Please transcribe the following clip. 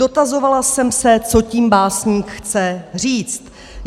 Dotazovala jsem se, co tím básník chce říct.